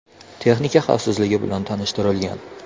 Texnika xavfsizligi bilan tanishtirilgan.